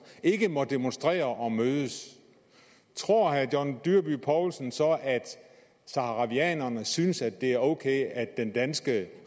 ikke at måtte demonstrere og mødes tror herre john dyrby paulsen så at saharawierne synes at det er ok at den danske